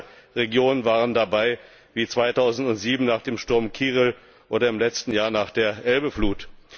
Auch deutsche Regionen waren dabei wie 2007 nach dem Sturm Kyrill oder im letzten Jahr nach der Elbe Flut.